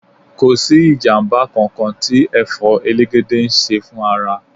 Kò sí ìjàmbá kankan tí Ẹ̀fọ́ elegede ń ṣe fún ara.